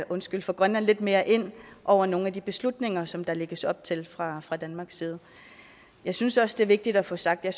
måske få grønland lidt mere ind over nogle af de beslutninger som der lægges op til fra fra danmarks side jeg synes også det er vigtigt at få sagt at